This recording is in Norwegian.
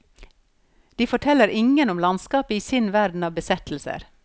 De forteller ingen om landskapet i sin verden av besettelser.